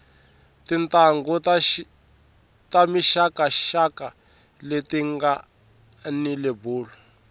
tintanghu ta mixaka xaka leti ngani lebulu